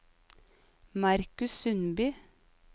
Marcus Sundby